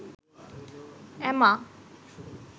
এমা